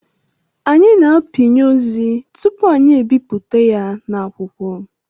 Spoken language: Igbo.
Anyị na-apịnye ozi tupu anyị ebipụta ya na akwụkwọ